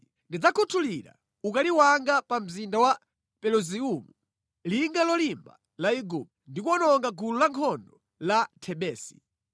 Ndidzakhuthulira ukali wanga pa mzinda wa Peluziumu, linga lolimba la Igupto, ndi kuwononga gulu lankhondo la Thebesi.